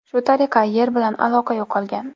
Shu tariqa, Yer bilan aloqa yo‘qolgan.